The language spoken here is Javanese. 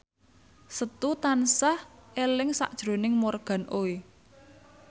Setu tansah eling sakjroning Morgan Oey